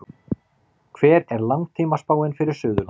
hver er langtímaspáin fyrir suðurland